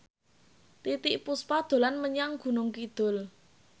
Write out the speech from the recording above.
Titiek Puspa dolan menyang Gunung Kidul